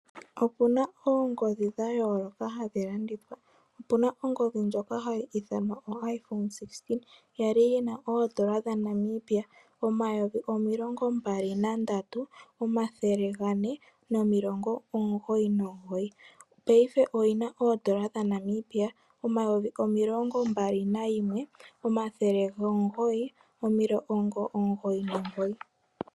Opu na oongodhi dhayooloka hadhi landithwa, opu na ongodhi ndjoka hayi ithanwa o-iPhone 16 kwali yi na oN$23499 paife oyi na oN$21999.